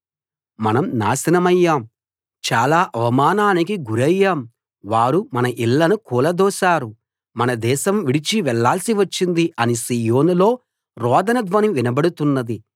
మనం నాశనమయ్యాం చాలా అవమానానికి గురయ్యాం వారు మన ఇళ్ళను కూలదోశారు మనం దేశం విడిచి వెళ్ళాల్సివచ్చింది అని సీయోనులో రోదన ధ్వని వినబడుతున్నది